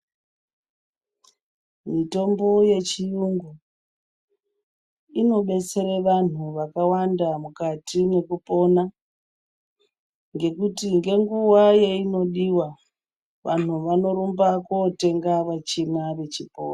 Mitombo yechiyungu inobetsere vanhu vakawanda mukati mwekupona. Ngekuti ngenguva yeinodiwa, vanhu vanorumba kootenga vechimwa vechipora...